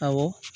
Awɔ